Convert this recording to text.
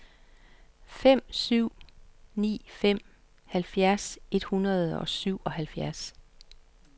fem syv ni fem halvfjerds et hundrede og syvoghalvfjerds